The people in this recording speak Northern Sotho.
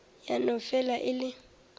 ya no fela e le